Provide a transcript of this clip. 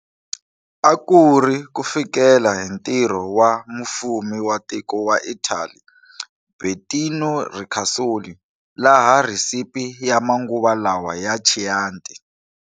A kuri kufikela hi ntirho wa mufumi wa tiko wa Italy Bettino Ricasoli laha recipe ya manguva lawa ya Chianti.